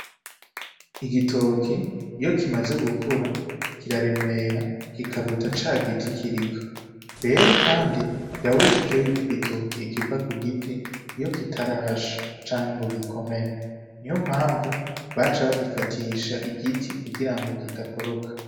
Igitoke iyo kimaze gukura kiraremera kikaruta ca giti kiriko. Rero kandi birabujijwe yuko igitoke kiva ku giti iyo kitarasha canke ngo gikomere; niyo mpamvu baca bagifatisha igiti kugira ngo kidakoroka.